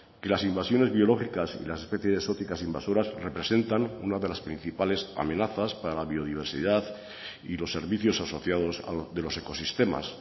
que las invasiones biológicas y las especies exóticas invasoras representan una de las principales amenazas para la biodiversidad y los servicios asociados de los ecosistemas